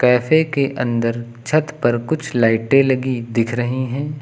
Cafe के अंदर छत पर कुछ लाइटें लगी दिख रही हैं।